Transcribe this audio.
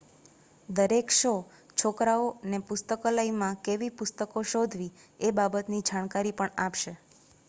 દરેક શો છોકરાઓ ને પુસ્તકાલયમાં કેવી પુસ્તકો શોધવી એ બાબત ની જાણકારી પણ આપશે